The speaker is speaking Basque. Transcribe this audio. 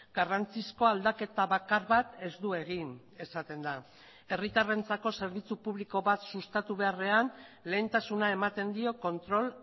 garrantzizko aldaketa bakar bat ez du egin esaten da herritarrentzako zerbitzu publiko bat sustatu beharrean lehentasuna ematen dio kontrol